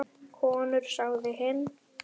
Konur sagði hinn.